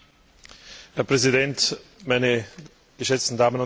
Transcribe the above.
Herr Präsident, meine geschätzten Damen und Herren!